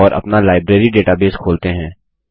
और अपना library database खोलते हैं